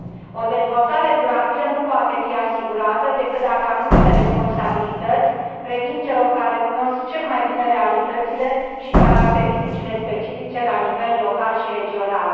O dezvoltare durabilă nu poate fi asigurată decât dacă anumite responsabilități revin celor care cunosc cel mai bine realitățile și caracteristicile specifice la nivel local și regional.